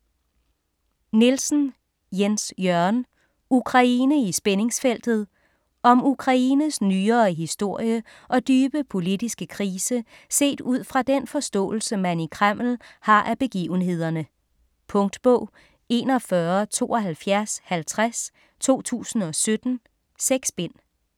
Nielsen, Jens Jørgen: Ukraine i spændingsfeltet Om Ukraines nyere historie og dybe politiske krise set ud fra den forståelse, man i Kreml har af begivenhederne. Punktbog 417250 2017. 6 bind.